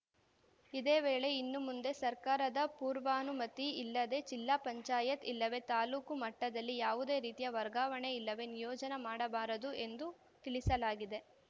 ಇದೇ ವೇಳೆ ಇನ್ನು ಮುಂದೆ ಸರ್ಕಾರದ ಪೂರ್ವಾನುಮತಿ ಇಲ್ಲದೇ ಜಿಲ್ಲಾ ಪಂಚಾಯತ್‌ ಇಲ್ಲವೇ ತಾಲ್ಲೂಕು ಮಟ್ಟದಲ್ಲಿ ಯಾವುದೇ ರೀತಿಯ ವರ್ಗಾವಣೆ ಇಲ್ಲವೇ ನಿಯೋಜನೆ ಮಾಡಬಾರದು ಎಂದು ತಿಳಿಸಲಾಗಿದೆ